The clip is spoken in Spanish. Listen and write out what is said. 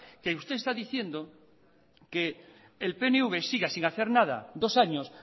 que usted está diciendo que el pnv siga sin hacer nada dos años